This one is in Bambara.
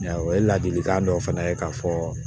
O ye ladilikan dɔ fana ye k'a fɔ